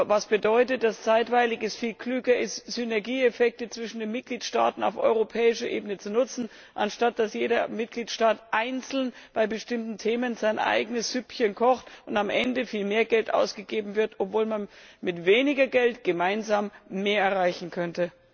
Das bedeutet, dass es zeitweilig viel klüger ist, Synergieeffekte zwischen den Mitgliedstaaten auf europäischer Ebene zu nutzen, statt dass jeder Mitgliedstaat einzeln bei bestimmten Themen sein eigenes Süppchen kocht und am Ende viel mehr Geld ausgegeben wird, obwohl man mit weniger Geld gemeinsam mehr erreichen könnte?